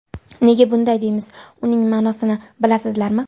Nega bunday deymiz, uning ma’nosini bilasizlarmi?